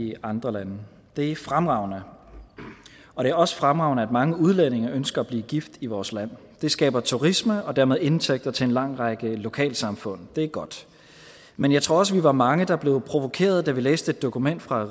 i andre lande det er fremragende og det er også fremragende at mange udlændinge ønsker at blive gift i vores land det skaber turister og dermed indtægter til en lang række lokalsamfund og det er godt men jeg tror også vi var mange der blev provokeret da vi læste et dokument fra